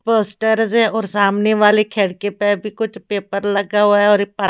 poster से और सामने वाली खिड़की पे भी कुछ पेपर लगा हुआ है और ये--